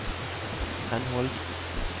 henhold